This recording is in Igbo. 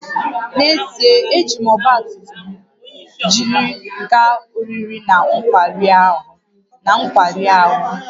N’ezie, ejiri m ọgba tum tum m jiri gaa oriri na nkwari ahụ